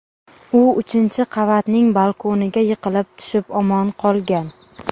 U uchinchi qavatning balkoniga yiqilib tushib omon qolgan.